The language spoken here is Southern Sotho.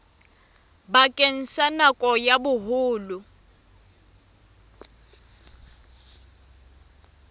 bakeng sa nako ya boholo